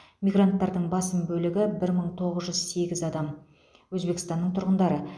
мигранттардың басым бөлігі бір мың тоғыз жүз сегіз адам өзбекстанның тұрғындары